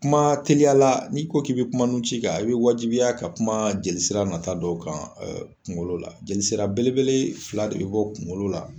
Kuma teliyala n'i ko k'i be kuma nun ci kan i be wajibiya ka kuma jelisira nata dɔ kan ɛ kungolo la jeli sira belebele fila de be bɔ kungolo la